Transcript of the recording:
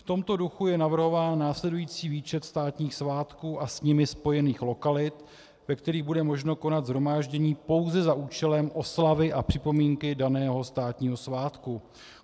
V tomto duchu je navrhován následující výčet státních svátků a s nimi spojených lokalit, ve kterých bude možno konat shromáždění pouze za účelem oslavy a připomínky daného státního svátku.